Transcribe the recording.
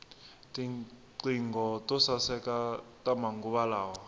tinqingho to saeka ta manguva lawa